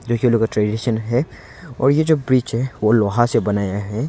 है और ये जो ब्रिज है वो लोहा से बनाया है।